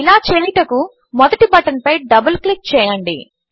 ఇలా చేయుటకు మొదటి బటన్పై డబల్ క్లిక్ చేయండి